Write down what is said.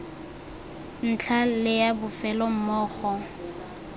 ntlha le ya bofelo mmogo